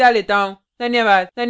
धन्यवाद